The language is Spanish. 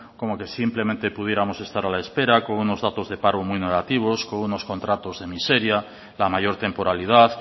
como que simplemente pudiéramos estar a la espera con unos datos de paro muy negativos con unos contratos de miseria la mayor temporalidad